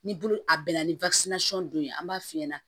Ni bolo a bɛnna ni dɔ ye an b'a f'i ɲɛna